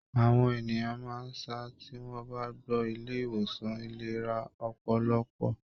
Àwọn ènìyàn máa sá tí wọ́n bá gbọ́ Ilé ìwòsàn ìlera ọpọlọpọ.